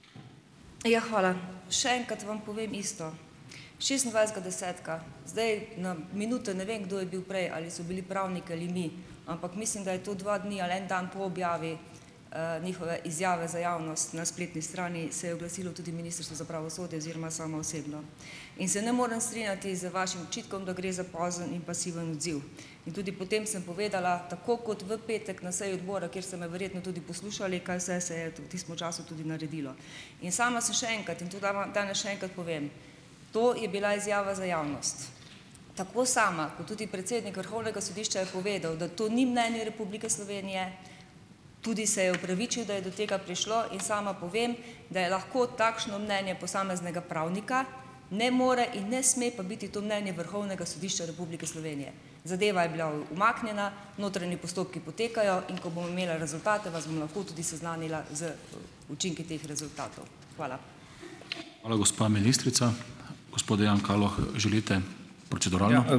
Ja, hvala. še enkrat vam povem isto. Šestindvajsetega desetega, zdaj na minuto ne vem, kdo je bil prej, ali so bili pravniki ali mi, ampak mislim, da je to dva dni ali en dan po objavi njihove izjave za javnost na spletni strani, se je oglasilo tudi Ministrstvo za pravosodje oziroma sama osebno. In se ne morem strinjati z vašim očitkom, da gre za pozen in pasiven odziv. In tudi potem sem povedala tako kot v petek na seji odbora, kjer ste me verjetno tudi poslušali, kaj vse se je v tistem času tudi naredilo. In sama sem že enkrat in tu tudi danes še enkrat povem, to je bila izjava za javnost. Tako sama kot tudi predsednik Vrhovnega sodišča je povedal, da to ni mnenje Republike Slovenije, tudi se je opravičil, da je do tega prišlo. In sama povem, da je lahko takšno mnenje posameznega pravnika, ne more in ne sme pa biti to mnenje Vrhovnega sodišča Republike Slovenije. Zadeva je bila umaknjena, notranji postopki potekajo, in ko bom imela rezultate, vas bom lahko tudi seznanila z učinki teh rezultatov. Hvala.